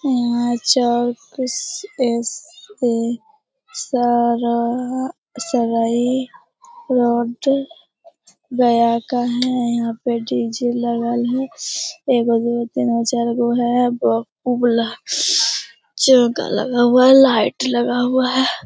यहाँ एस.ए. सारा सगाई रोड गया का है। यहाँ पे डी.जे. लगल है। एगो दूगो तीन गो चारगो है। एगो उ वाला लगा हुआ है लाइट लगा हुआ है।